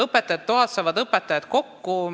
Õpetajate toas saavad õpetajad kokku.